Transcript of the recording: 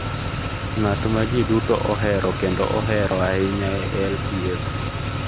"Ng'at ma ji duto ohero kendo ohero ahinya e LCFC."""